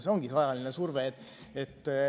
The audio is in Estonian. See ongi see ajaline surve.